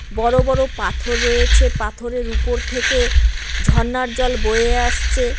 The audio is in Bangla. বড় বড় পাথর রয়েছে পাথরের উপর থেকে ঝরনার জল বয়ে আসছে।